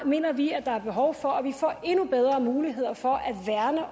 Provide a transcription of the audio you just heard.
mener vi at der er behov for at vi får endnu bedre muligheder for